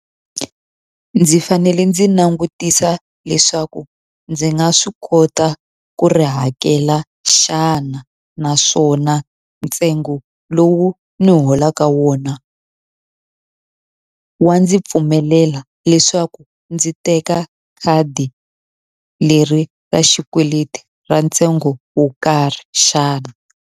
Ndzi fanele ndzi langutisa leswaku ndzi nga swi kota ku ri hakela xana naswona ntsengo lowu ni holaka wona wa ndzi pfumelela leswaku ndzi teka khadi leri ra xikweleti ra ntsengo wo karhi xana.